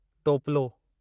टोपिलो